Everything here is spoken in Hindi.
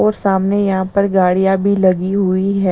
और सामने यहां पर गाड़ियां भी लगी हुई है।